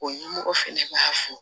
O ɲɛmɔgɔ fɛnɛ b'a fo